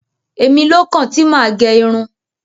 Èmilókàn tí mà á gẹ irun.